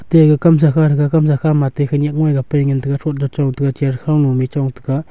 atte aga kamsa kha thaga kamsa khama atte khanyak ngoiga pai ngan taiga throt da chong taiga chair khow ma mih chong taiga.